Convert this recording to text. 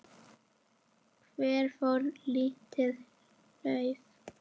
Hvert fór lítið lauf?